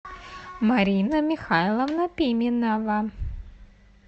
марина михайловна пименова